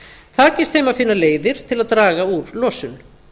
takist þeim að finna leiðir til að draga úr losun